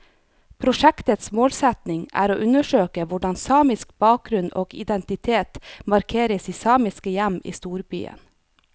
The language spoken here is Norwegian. Prosjektets målsetning er å undersøke hvordan samisk bakgrunn og identitet markeres i samiske hjem i storbyen.